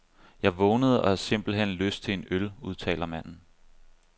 Jeg vågnede og havde simpelt hen lyst til en øl, udtaler manden.